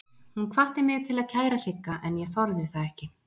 Hún hvatti mig til að kæra Sigga en ég þorði það ekki.